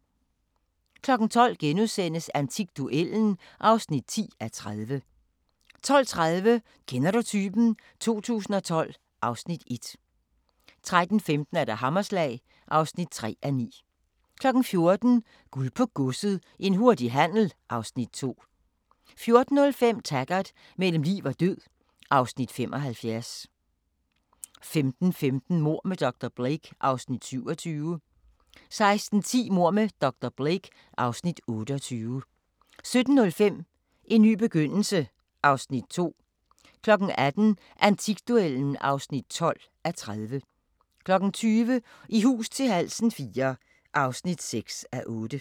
12:00: Antikduellen (10:30)* 12:30: Kender du typen? 2012 (Afs. 1) 13:15: Hammerslag (3:9) 14:00: Guld på Godset – en hurtig handel (Afs. 2) 14:05: Taggart: Mellem liv og død (Afs. 75) 15:15: Mord med dr. Blake (Afs. 27) 16:10: Mord med dr. Blake (Afs. 28) 17:05: En ny begyndelse (Afs. 12) 18:00: Antikduellen (12:30) 20:00: I hus til halsen IV (6:8)